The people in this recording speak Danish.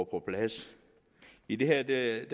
på plads i det her